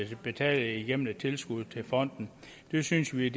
de betale gennem et tilskud til fonden det synes vi